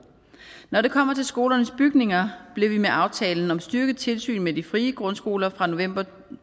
når det kommer til skolernes bygninger blev vi med aftalen om styrket tilsyn med de frie grundskoler fra november to